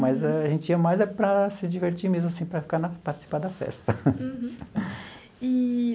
Mas a gente ia mais é para se divertir mesmo, assim, para ficar na, participar da festa.